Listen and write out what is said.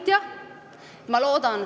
Riigikogu infotund on lõppenud.